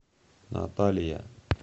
наталия